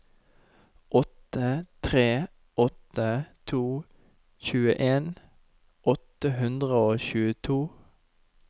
åtte tre åtte to tjueen åtte hundre og tjueto